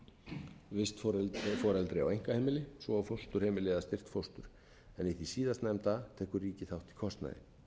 fjölskylduheimili og sambýli vistforeldri á einkaheimili svo og fósturheimili eða styrk fóstur en í því síðastnefnda tekur ríkið þátt í kostnaði